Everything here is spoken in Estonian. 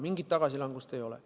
Mingit tagasilangust ei ole.